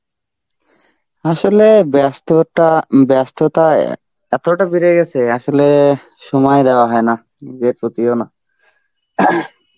আসলে ব্যস্ততা, ব্যস্ততা এতটা বেড়ে গেছে, আসলে সময় দেওয়া হয় না, নিজের প্রতিও না.